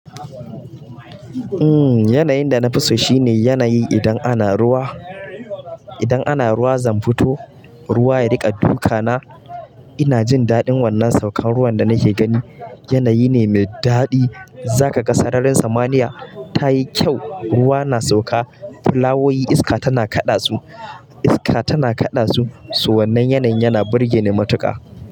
Umm yanayin da na fi so shine yanayi idan ana ruwa, idan ana ruwa zan fito, ruwa ya riƙa duka na ina jin daɗin wannan saukan ruwan da nake gani. Yanayi ne mai daɗi. Zaka ga sararin samaniya ta yi kyau, ruwa na sauka, fulawoyi iska tana kaɗa su, iska tana kaɗa su. Su wannan yanayin yana burge ni matuƙa.